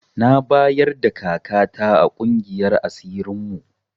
Na bayarda kaka ta a ƙungiyar asirin mu